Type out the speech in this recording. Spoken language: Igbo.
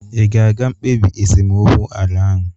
Ị ga-aga mkpebi esemokwu ala ahụ?